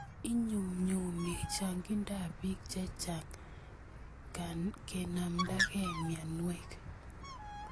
Inyumnyumi chang'indap piik kenamndakei mianwek.